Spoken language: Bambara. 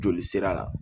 Joli sira la